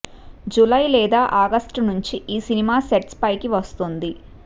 July లేదా August నుంచి ఈ సినిమా సెట్స్ పైకి వస్తుంది